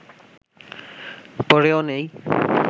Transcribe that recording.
পড়েও নেই